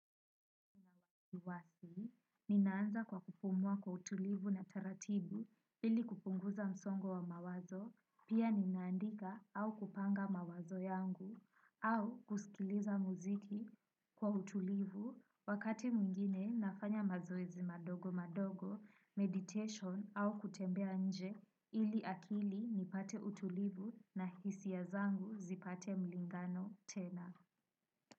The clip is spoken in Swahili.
Iwasi, ninaanza kwa kupumua kwa utulivu na taratibu ili kupunguza msongo wa mawazo, pia ninaandika au kupanga mawazo yangu, au kusikiliza muziki kwa utulivu wakati mwingine nafanya mazoezi madogo madogo, meditation au kutembea nje ili akili nipate utulivu na hisia zangu zipate mlingano tena.